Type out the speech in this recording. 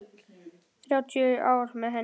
Þrjátíu ár með henni.